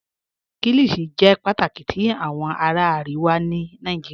Kíllíshì jẹ́ pátákì tì awọn ará Àríwà ní Nàìjíríà